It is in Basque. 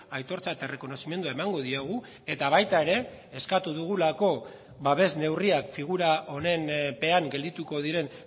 aitortza eta errekonozimendua emango diogu eta baita ere eskatu dugulako babes neurriak figura honen pean geldituko diren